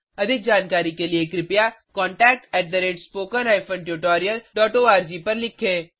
अधिक जानकारी के लिए कृपया contact at spoken hyphen tutorial dot ORG को लिखें